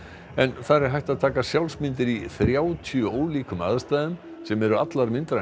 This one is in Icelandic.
en þar er hægt að taka sjálfsmyndir í þrjátíu ólíkum aðstæðum sem eru allar myndrænar